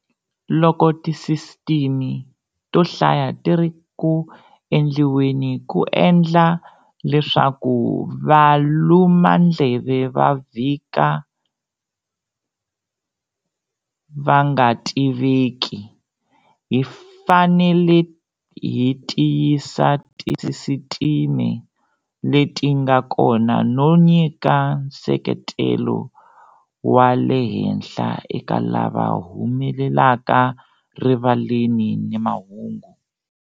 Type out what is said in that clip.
Loko tisisitime to hlaya ti ri ku endliweni ku endla leswaku valumandleve va vhika va nga tiveki, hi fanele hi tiyisa tisisitime leti nga kona no nyika nseketelo wa lehenhla eka lava humelelaka rivaleni ni mahungu.